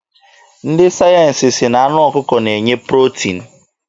Ndị sayensi sị na anụ ọkụkọ na-enye protin.